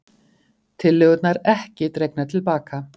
Tillögurnar ekki dregnar til baka